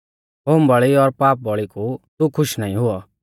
होमबौल़ी और पापबौल़ी कु तू खुश नाईं हुऔ